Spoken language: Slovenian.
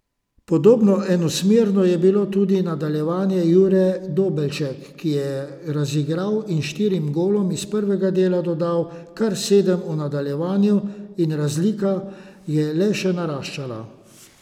Podobno enosmerno je bilo tudi nadaljevanje, Jure Dobelšek se je razigral in štirim golom iz prvega dela dodal kar sedem v nadaljevanju in razlika je le še naraščala.